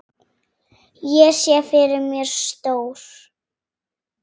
Ég sé fyrir mér stór